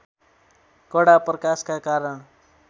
कडा प्रकाशका कारण